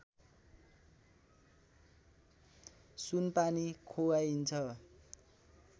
सुनपानी खुवाइन्छ